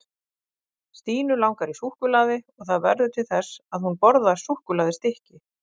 stínu langar í súkkulaði og það verður til þess að hún borðar súkkulaðistykki